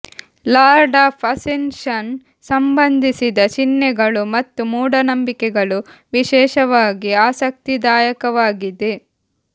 lord of ascension ಸಂಬಂಧಿಸಿದ ಚಿಹ್ನೆಗಳು ಮತ್ತು ಮೂಢನಂಬಿಕೆಗಳು ವಿಶೇಷವಾಗಿ ಆಸಕ್ತಿದಾಯಕವಾಗಿದೆ